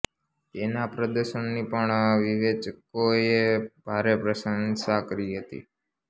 તેના પ્રદર્શનની પણ વિવેચકોએ ભારે પ્રશંસા કરી હતી